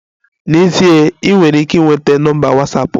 N'ezie, ị nwere ike ịnweta nọmba Watsapụ m